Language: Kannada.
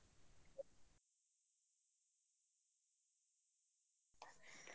.